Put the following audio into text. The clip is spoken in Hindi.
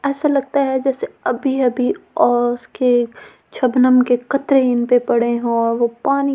ऐसा लगता है जैसे अभी-अभी ओस के छबनम के कतरे इनपे पड़े हो और वो पानी के छोटे-छोटे--